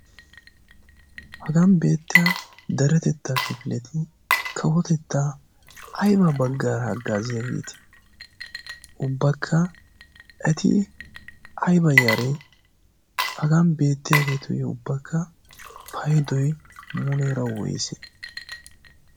hagan beettiya deretettaa kifileti kawotettaa ayba baggaara haggaaziyaagiiti ubbakka eti aiba yaare hagan beettiyaageetuyyo ubbakka paidoi muleera woysee?